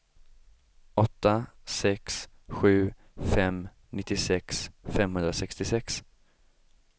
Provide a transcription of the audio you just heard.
åtta sex sju fem nittiosex femhundrasextiosex